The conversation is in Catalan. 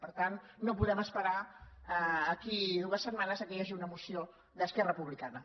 per tant no podem es·perar a d’aquí a dues setmanes que hi hagi una moció d’esquerra republicana